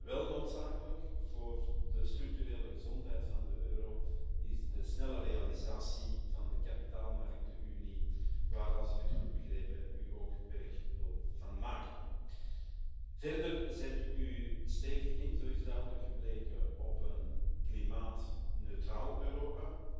Wel noodzakelijk voor de structurele gezondheid van de euro is de snelle realisatie van de kapitaalmarktenunie waar u als ik het goed begrepen heb ook werk van wil maken. Verder zet u stevig in zo is duidelijk gebleken op een klimaatneutraal Europa.